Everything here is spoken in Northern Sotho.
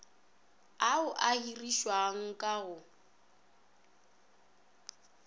ao a hirišiwang ka go